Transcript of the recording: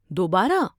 دوبارہ؟